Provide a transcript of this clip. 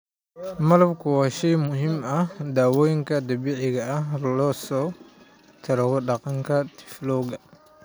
Malabku waa shay muhiim u ah dawooyinka dabiiciga ah si looga takhaluso qandhada tiifowga.